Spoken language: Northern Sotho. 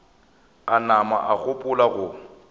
a nama a gopola go